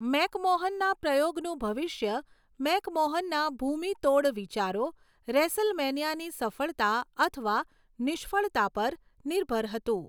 મેકમોહનના પ્રયોગનું ભવિષ્ય મેકમોહનના ભૂમિતોડ વિચારો, રેસલમેનિયાની સફળતા અથવા નિષ્ફળતા પર નિર્ભર હતું.